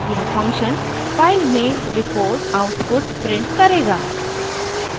यह function file में report output print करेगा